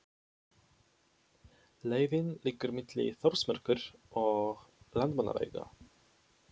Leiðin liggur milli Þórsmerkur og Landmannalauga.